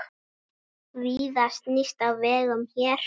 Víða snýst á vegum hér.